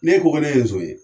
Ne ko ko ne so ye